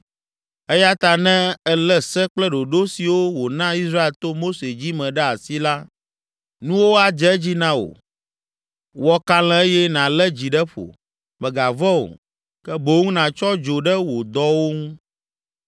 “Eya ta ne èlé se kple ɖoɖo siwo wòna Israel to Mose dzi me ɖe asi la, nuwo adze edzi na wò. Wɔ kalẽ eye nàlé dzi ɖe ƒo; mègavɔ̃ o, ke boŋ nàtsɔ dzo ɖe wò dɔwo ŋu!